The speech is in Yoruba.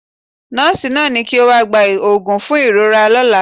Nọ́ọ̀sì ni kí ó wá gba òògùn fún ìrora lọ́la.